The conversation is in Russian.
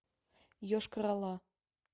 йошкар ола